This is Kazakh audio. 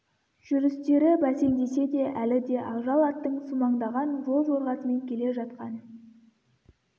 жүрістері бәсеңдесе де әлі де ақжал аттың сумаңдаған жол жорғасымен келе жатқан